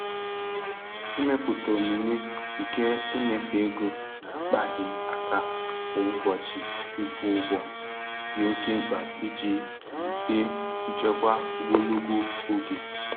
Ịmepụta omume nke ịnyefe ego na-akpaghị aka kwa ụbọchị ịkwụ ụgwọ dị oke mkpa iji wulite nchekwa ogologo oge.